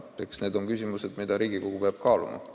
Eks need ole küsimused, mida Riigikogu peab kaaluma.